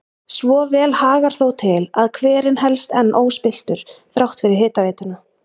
Svo vel hagar þó til að hverinn helst enn óspilltur þrátt fyrir hitaveituna.